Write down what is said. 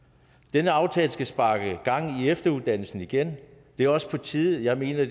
denne aftale skal sparke gang i efteruddannelsen igen og det er også på tide jeg mener